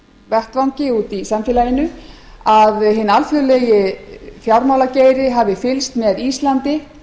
vettvangi úti í samfélaginu að hinn alþjóðlegi fjármálageiri hafi fylgst með íslandi